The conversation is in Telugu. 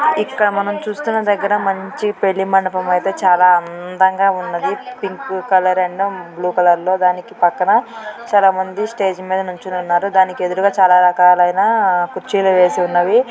ఇక్కడ మనం చూస్తున్న దగ్గర మంచి పెళ్లి మండపం అయితే చాలా అందంగా ఉన్నది. పింక్ కలర్ అన్న బ్లూ కలర్ లో దానికి పక్కన చాలామంది స్టేజ్ మీద నిల్చో ఉన్నారు. దానికి ఎదురుగా చాలా రకాలైన కుచ్చీలు వేసి ఉన్నవి.